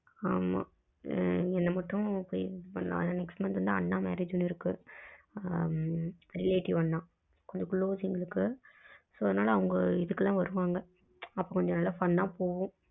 ஆமா என்ன மட்டும் next month ன்னா அண்ணா marriage ஒன்னு இருக்கு ஆ relative அண்ணா கொஞ்ச close எங்களுக்கு so அவங்க இதுக்கு எல்லாம் வருவாங்க அப்போ நல்ல fun அ போகும்